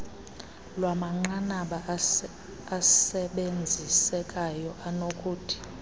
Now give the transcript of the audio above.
lwamanqanaba asebenzisekayo anokuthi